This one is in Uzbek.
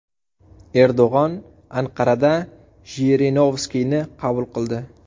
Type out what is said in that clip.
Erdo‘g‘on Anqarada Jirinovskiyni qabul qildi.